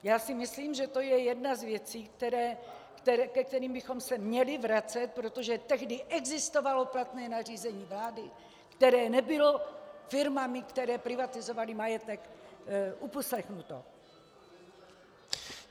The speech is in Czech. Já si myslím, že to je jedna z věcí, ke kterým bychom se měli vracet, protože tehdy existovalo platné nařízení vlády, které nebylo firmami, které privatizovaly majetek, uposlechnuto.